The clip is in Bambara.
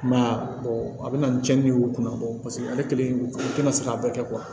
I m'a ye a a bɛna ni cɛni y'u kunna ale kelen o tɛna se k'a bɛɛ kɛ